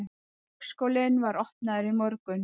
Leikskólinn var opnaður í morgun